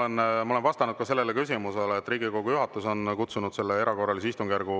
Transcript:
Aga ma olen vastanud sellele küsimusele, et Riigikogu juhatus on kutsunud selle erakorralise istungjärgu